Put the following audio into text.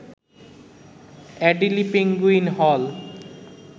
Adelie penguin হল